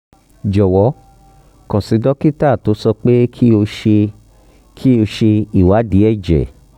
jọwọ kàn sí dókítà tó sọ pé kí o ṣe kí o ṣe ìwádìí ẹ̀jẹ̀